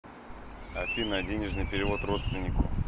афина денежный перевод родственнику